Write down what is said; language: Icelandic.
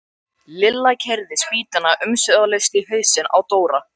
Lilla keyrði spýtuna umsvifalaust í hausinn á Dóra.